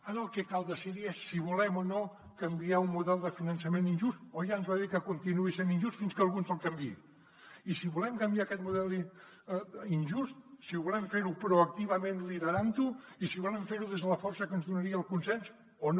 ara el que cal decidir és si volem o no canviar un model de finançament injust o ja ens va bé que continuï sent injust fins que algú ens el canviï i si volem canviar aquest model injust si volem fer ho proactivament liderant ho i si volem fer ho des de la força que ens donaria el consens o no